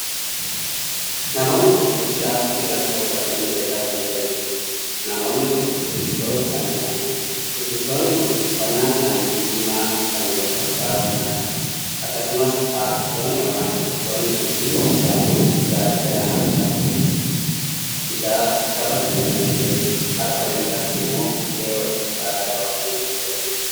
Namoonni kun hojii aartii irratti bobba'anii hojjetaa kan jiraniidha. namoonni kun shubbistoota kan taa'aniidha. shubbistoonni kun uffannaan isaanii diimaa kan wal fakkaatuudha. akkasumas aartistoonni ykn shubbistoonni kun hundi isaanii gaachana harkatti biraatti qabatanii kan jiraniidha. harka mirgaatti immoo ulee walfakkaataa qabatanii kan jiraniidha.